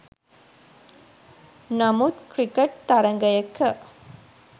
නමුත් ක්‍රිකට් තරගයක